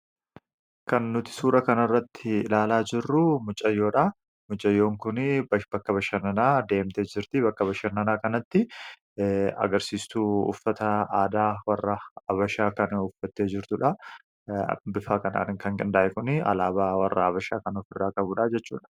Kan nuti suura kana irratti ilaalaa jirruu, mucayyoodha. Mucayyoon kunii bakka bashannanaa deemtee jirti. Bakka bashannanaa kanatti agarsiistuu uffata aadaa warra Habashaa kan uffattee jirtuudha. Bifaa kanaan kan gindaa’e kun, alaabaa warra habashaa kan of irraa qabuudha jechuudha.